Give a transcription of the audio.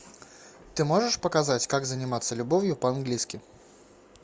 ты можешь показать как заниматься любовью по английски